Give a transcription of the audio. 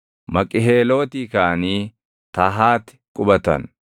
Maqiheelootii kaʼanii Tahaati qubatan.